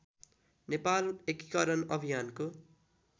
नेपाल एकीकरण अभियानको